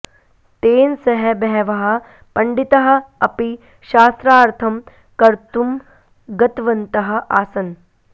तेन सह बहवः पण्डिताः अपि शास्त्रार्थं कर्तुं गतवन्तः आसन्